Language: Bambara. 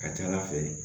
Ka ca ala fɛ